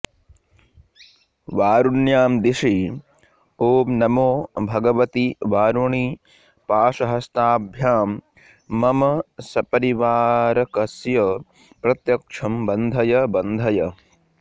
वारुण्यां दिशि ॐ नमो भगवति वारुणि पाशहस्ताभ्यां मम सपरिवारकस्य प्रत्यक्षं बन्धय बन्धय